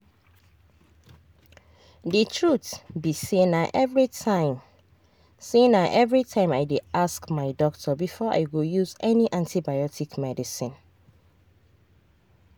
the truth be sayna everytime sayna everytime i dey ask my doctor before i go use any antibiotic medicine.